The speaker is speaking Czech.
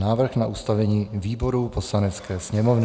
Návrh na ustavení výborů Poslanecké sněmovny